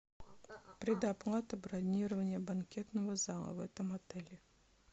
предоплата бронирования банкетного зала в этом отеле